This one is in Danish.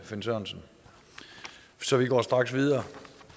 finn sørensen så vi går straks videre